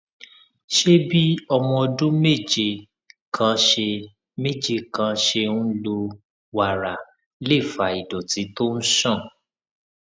ṣé bí ọmọ ọdún méje kan ṣe méje kan ṣe ń lo wàrà lè fa ìdòtí tó ń ṣàn